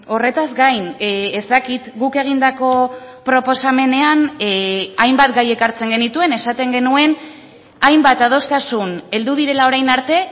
horretaz gain ez dakit guk egindako proposamenean hainbat gai ekartzen genituen esaten genuen hainbat adostasun heldu direla orain arte